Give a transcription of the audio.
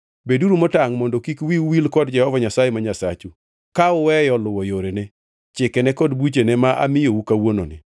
Beduru motangʼ mondo kik wiu wil kod Jehova Nyasaye ma Nyasachu, ka uweyo luwo yorene, chikene kod buchene ma amiyou kawuononi.